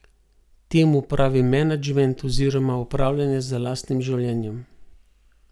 Temu pravim menedžment oziroma upravljanje z lastnim življenjem.